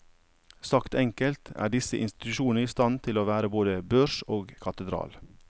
Sagt enkelt er disse institusjonene i stand til å være både børs og katedral.